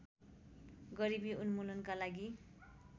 गरिबी उन्मुलनका लागि